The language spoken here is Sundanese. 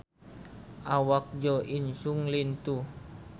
Awak Jo In Sung lintuh